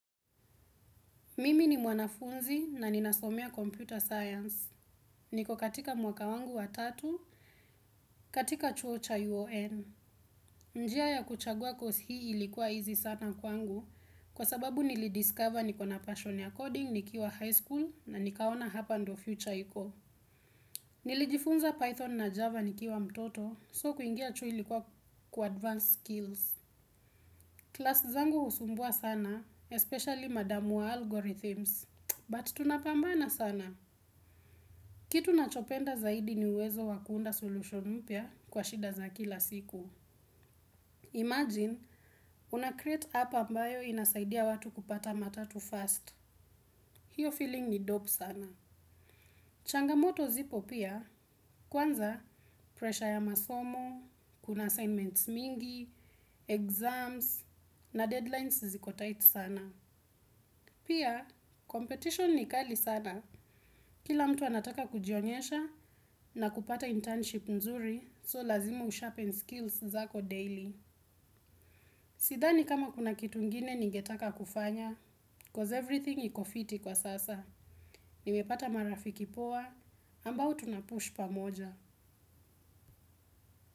Mimi ni mwanafunzi na ninasomea computer science. Niko katika mwaka wangu wa tatu, katika chuo cha UON. Njia ya kuchagua kosi hii ilikuwa easy sana kwangu, kwa sababu nili discover niko na passion ya coding, nikiwa high school, na nikaona hapa ndo future iko. Nilijifunza Python na Java nikiwa mtoto, so kuingia chuo ilikuwa kuadvance skills. Klasi zangu husumbua sana, especially madamu wa algorithms. But tunapambana sana. Kitu nachopenda zaidi ni uwezo wa kuunda solution mpya kwa shida za kila siku. Imagine, una create app ambayo inasaidia watu kupata matatu fast. Hiyo feeling ni dope sana. Changamoto zipo pia, kwanza pressure ya masomo, kuna assignments mingi, exams, na deadlines ziko tight sana. Pia, competition ni kali sana. Kila mtu anataka kujionyesha na kupata internship nzuri so lazima usharpen skills zako daily. Sithani kama kuna kitu ingine ningetaka kufanya, cause everything iko fiti kwa sasa. Nimepata marafiki poa, ambao tunapush pamoja.